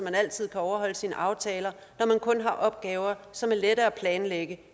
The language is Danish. altid kan overholde sine aftaler når man kun har opgaver som er lette at planlægge